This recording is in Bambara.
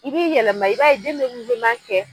I b'i yɛlɛma i b'a ye den bɛ kɛ.